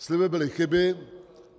Sliby byly chyby.